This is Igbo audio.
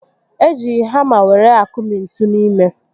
E ji hàmá were akụmi ntú n'ime